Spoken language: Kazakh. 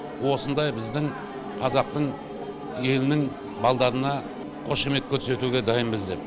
осындай біздің қазақтың елінің балдарына қошемет көрсетуге дайынбыз деп